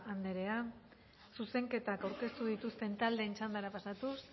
andrea zuzenketak aurkeztu dituzten taldeen txandara pasatuz